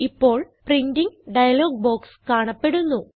ഇപ്പോൾ printing dialog box കാണപ്പെടുന്നു